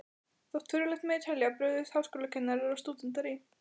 Þótt furðulegt megi telja, brugðust háskólakennarar og stúdentar í